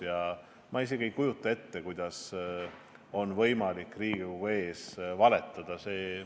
Ja ma isegi ei kujuta ette, kuidas on võimalik Riigikogu ees valetada.